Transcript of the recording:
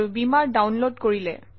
বীমাৰ ডাউনলোড কৰিলে